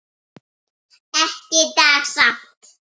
Ekki í dag samt.